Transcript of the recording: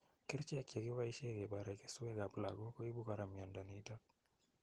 kercheek chegiboishe kebare kesweek ap lagok koibu kora miondo nitok.